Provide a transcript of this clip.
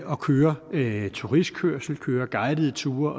og kører turistkørsel kører guidede ture